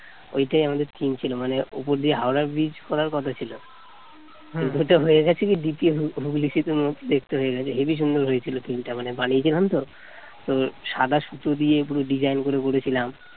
ওইটাই আমাদের theme ছিল মানে উপর দিয়ে হাওড়া Bridge করার কথা ছিল ওইটা হয়ে গেছে দ্বিতীয় হুগলি হুগলি সেতু সেতুর মতো দেখতে হয়ে গেছে হেবি সুন্দর হয়েছিল theme টা মানে বানিয়েছিলাম তো সাদা সুতা দিয়ে পুরো design করে করেছিলাম